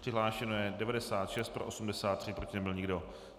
Přihlášeno je 96, pro 83, proti nebyl nikdo.